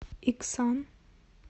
иксан